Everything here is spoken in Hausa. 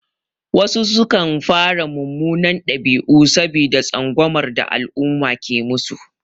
Wasu sukan fara munanan ɗabi'u saboda tsangwamar da al'umma ke musu.